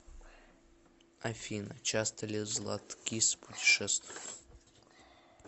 афина часто ли златкис путешествует